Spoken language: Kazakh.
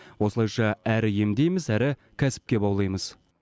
осылайша әрі емдейміз әрі кәсіпке баулимыз